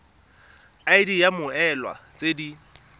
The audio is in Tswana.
id ya mmoelwa tse di